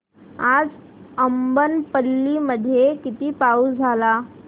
आज अब्बनपल्ली मध्ये किती पाऊस झाला